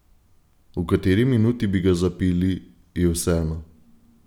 V kateri minuti bi ga zabili, je vseeno.